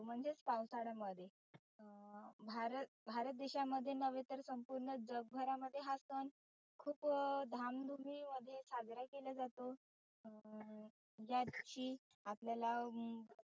म्हणजेच पावसाळ्यामध्ये. अं भारत भारत देशामध्ये नव्हे तर संपुर्ण जग भरामध्ये हा सन खुप धाम धुमी मध्ये साजरा केला जातो. अं याची आपल्याला हम्म